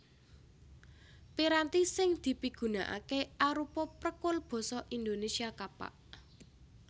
Piranti sing dipigunakaké arupa prekul basa Indonésia Kapak